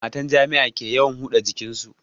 Matan jami'a ke yawan huda jikin su